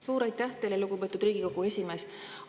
Suur aitäh teile, lugupeetud Riigikogu esimees!